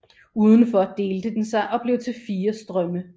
Udenfor delte den sig og blev til fire strømme